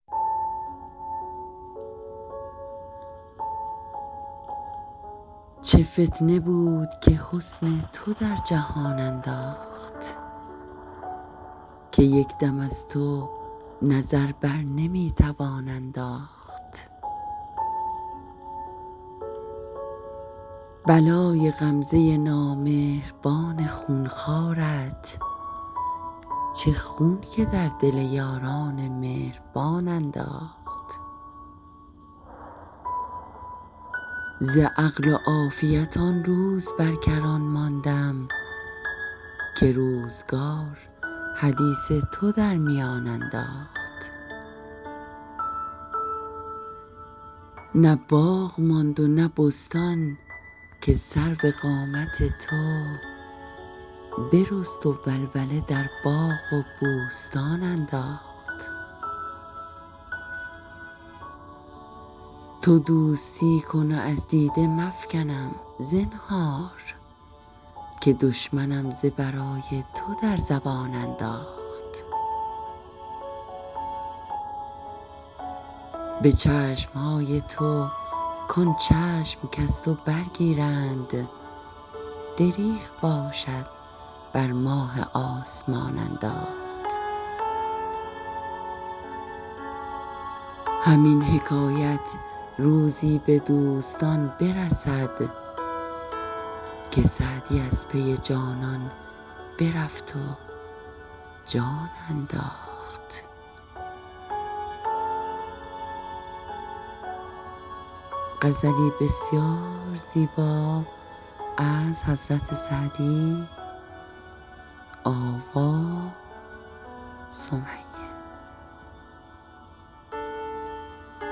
چه فتنه بود که حسن تو در جهان انداخت که یک دم از تو نظر بر نمی توان انداخت بلای غمزه نامهربان خون خوارت چه خون که در دل یاران مهربان انداخت ز عقل و عافیت آن روز بر کران ماندم که روزگار حدیث تو در میان انداخت نه باغ ماند و نه بستان که سرو قامت تو برست و ولوله در باغ و بوستان انداخت تو دوستی کن و از دیده مفکنم زنهار که دشمنم ز برای تو در زبان انداخت به چشم های تو کان چشم کز تو برگیرند دریغ باشد بر ماه آسمان انداخت همین حکایت روزی به دوستان برسد که سعدی از پی جانان برفت و جان انداخت